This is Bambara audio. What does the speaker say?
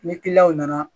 Ni kiliyanw nana